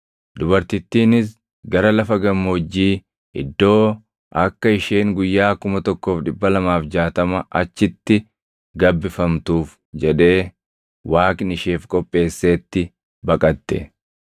Dubartittiinis gara lafa gammoojjii iddoo akka isheen guyyaa 1,260 achitti gabbifamtuuf jedhee Waaqni isheef qopheesseetti baqatte.